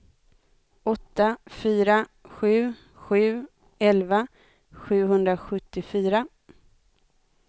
åtta fyra sju sju elva sjuhundrasjuttiofyra